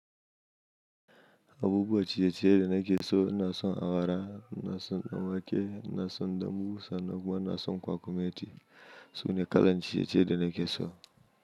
Abubuwan ciyeciye de ne ke so ina son awara, ina son awake, ina son dambu sannan kuma na son kwakumeti So ne kalan ciyeciye de ne ke so.